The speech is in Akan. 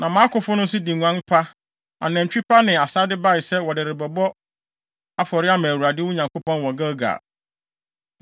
Na mʼakofo no nso de nguan pa, anantwi pa ne asade bae sɛ wɔde rebɛbɔ afɔre ama Awurade, wo Nyankopɔn wɔ Gilgal.”